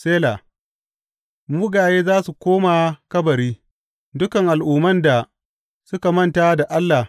Sela Mugaye za su koma kabari, dukan al’umman da suka manta da Allah.